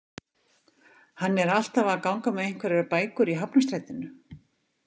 Hann er alltaf að ganga með einhverjar bækur í Hafnarstrætinu